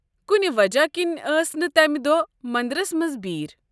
کُنہِ وجہ كِنہِ ٲس نہٕ تمہ دۄہ مندرس منٛز بِیرٕ۔